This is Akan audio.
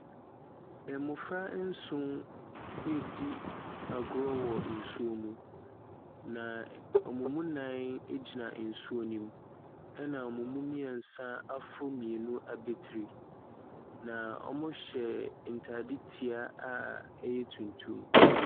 Mmɔfra nson redi agorɔ wa nsuo mu, na wɔn mu nna gyina nsuo no mu, ɛnna wɔn mu mmeɛnsa aforo mmienu abatiri. Na wɔhyɛ ntadetia a ɛyɛ tuntum.